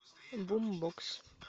бумбокс